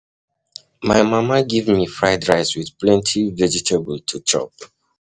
My mama give me fried rice with plenty vegetable to chop um